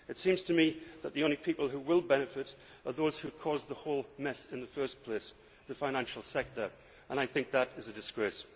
It seems to me that the only people who will benefit are those who have caused the whole mess in the first place, the financial sector, and I think that is a disgrace.